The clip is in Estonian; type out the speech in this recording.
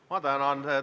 Ma tänan!